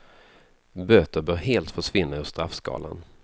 Böter bör helt försvinna ur straffskalan.